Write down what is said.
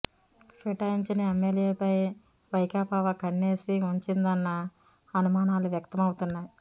ఫిరాయించిన ఎమ్మెల్యేలపై వైకాపా ఓ కన్నేసి ఉంచిందన్న అనుమానాలు వ్యక్తమౌతున్నాయి